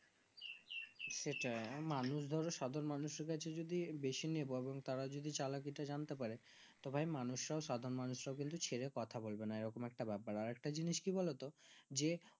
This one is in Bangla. সেটাই মানুষ ধরো সাধারণ মানুষের কাছে যদি বেশি তারা যদি চালাকি তা জানতে পারে তো ভাই মানুষরাও সাধারণ মানুষ রাও কিন্তু ছেড়ে কথা বলবেনা এরকম একটা ব্যাপার আরেকটা জিনিস কি বোলো তো যে